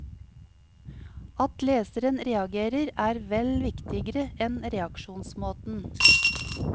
At leseren reagerer er vel viktigere enn reaksjonsmåten.